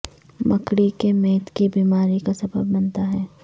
مکڑی کے میتھ کی بیماری کا سبب بنتا ہے